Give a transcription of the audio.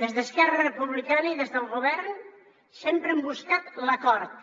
des d’esquerra republicana i des del govern sempre hem buscat l’acord